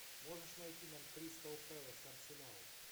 можешь найти нам кристал пэлас арсенал